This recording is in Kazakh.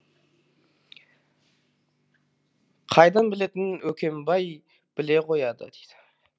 қайдан білетінін өкембай біле қояды